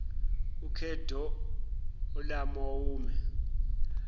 ukedorlawomere